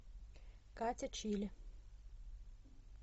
катя чили